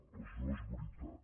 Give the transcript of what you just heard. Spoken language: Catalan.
doncs no és veritat